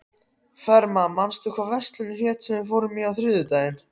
Fema, manstu hvað verslunin hét sem við fórum í á þriðjudaginn?